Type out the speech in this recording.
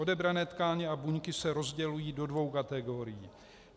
Odebrané tkáně a buňky se rozdělují do dvou kategorií.